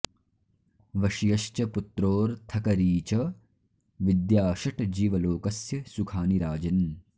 वश्यश्च पुत्रोऽर्थकरी च विद्या षट् जीवलोकस्य सुखानि राजन्